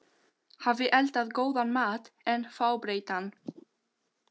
hafi eldað góðan mat en fábreyttan.